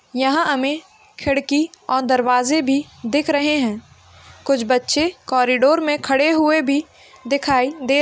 यहाँ हमे खिड़की और दरवाजा भी दिख रहे हैं कुछ बच्चे कॉरीडोर मे खड़े हुए भी दिखाई दे --